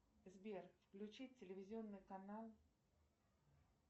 сбер включи телевизионный канал